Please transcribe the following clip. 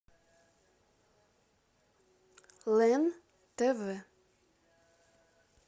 лен тв